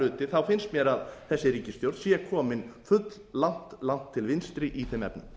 hluti finnst mér að þessi ríkisstjórn sé komin fulllangt til vinstri í þeim efnum